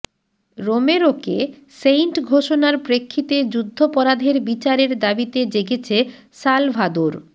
রোমেরোকে saint ঘোষণার প্রেক্ষিতে যুদ্ধাপরাধের বিচারের দাবিতে জেগেছে সালভাদোর